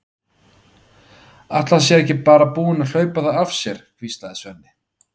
Ætli hann sé ekki bara búinn að hlaupa þau af sér, hvíslaði Svenni.